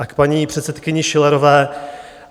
A k paní předsedkyni Schillerové.